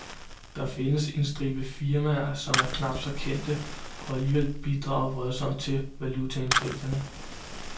Der findes en stribe firmaer, som er knap så kendte og alligevel bidrager voldsomt til valutaindtægterne.